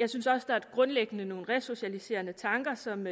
jeg synes også grundlæggende nogle resocialiserende tanker som